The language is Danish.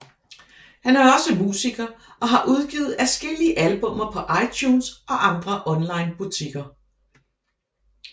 Han er også musiker og har udgivet adskillige albummer på iTunes og andre online butikker